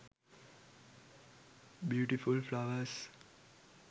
beautiful flowers